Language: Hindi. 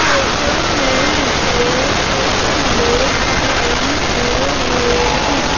फोटो में मुझे कुछ लोग दिखाई दे रहें हैं।